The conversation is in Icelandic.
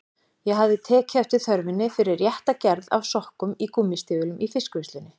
Ég hafði tekið eftir þörfinni fyrir rétta gerð af sokkum í gúmmístígvélin í fiskvinnslunni.